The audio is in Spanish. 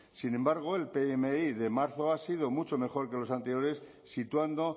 sin embargo el pmi de marzo ha sido mucho mejor que los anteriores situando